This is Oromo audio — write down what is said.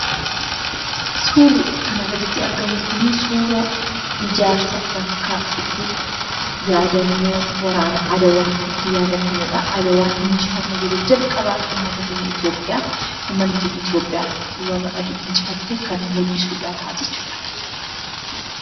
Suurri kanaa gaditti argamu kunii suuraa ijaarsa bakka itti yaadannoo waraana adawaa itti yaadatamudha. Adawaan injifannoo yeroo jalqabaaf uummata keenya Itoopiyaaf, uummanni keenya Itoopiyaa warra adii itti injifattee kan mul'isudha jechuudha.